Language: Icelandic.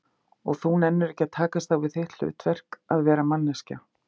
Og þú nennir ekki að takast á við þitt hlutverk, að vera manneskja?